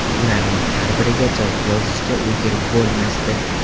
Ularning har biriga javob yozishga ulgurib bo‘lmasdi.